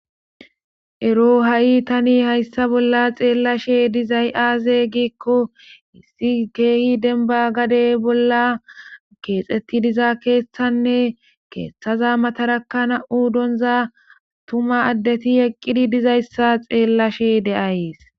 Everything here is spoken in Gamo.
Hro ha7i tani hayssa bolla xeellashe dizay aaze giikko issi kehi denba gadey bolla keexetti diza keeshthanne keeththaza mataraka na7u donza tuma addeti eqqidi dizayssa xeellashe de7ayees